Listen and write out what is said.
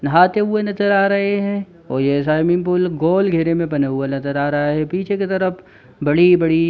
नहाते हुए नजर आ रहे है। और ये स्वाइमिंग पूल गोल घेरे में बने हुए नजर में आ रहा है। पीछे की तरफ बड़ी-बड़ी--